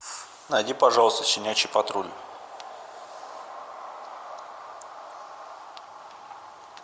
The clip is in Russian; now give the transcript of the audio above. найди пожалуйста щенячий патруль